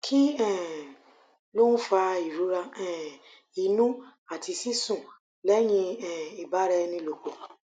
kí um ló ń fa ìrora um inú àti sísun lẹyìn um ìbara ẹni lòpọ̀